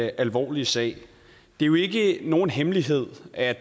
alvorlige sag det er jo ikke nogen hemmelighed at